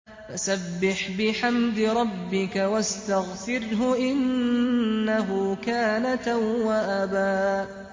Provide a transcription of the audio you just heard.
فَسَبِّحْ بِحَمْدِ رَبِّكَ وَاسْتَغْفِرْهُ ۚ إِنَّهُ كَانَ تَوَّابًا